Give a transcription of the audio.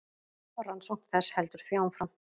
Rannsókn þess heldur því áfram.